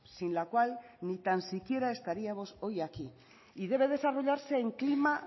sin la cual ni tan siquiera estaríamos hoy aquí y debe desarrollarse en clima